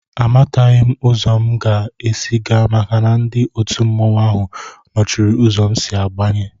Àmátaghị m uzo m ga-ési gaa maka na ndị òtù mmanwu áhù nọchiri ụzọ m si abanye